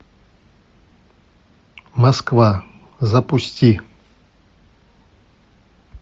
москва запусти